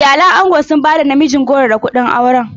Iyalan angon sun ba da namijin goro da kuɗin aurenta.